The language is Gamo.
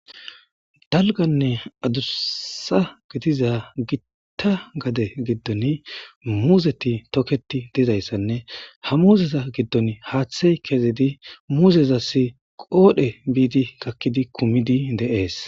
Dalganne adussa githiza giththa gade giddon muuzethi tokeththi dizayssanne ha muuzetha giddoni haaththey kezidi muuzezassi qoodhe biidi gakkidi kumidi de7ees.